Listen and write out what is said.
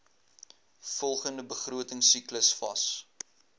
volgende begrotingsiklus vas